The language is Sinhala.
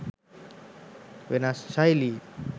වෙනස් ශෛලීන්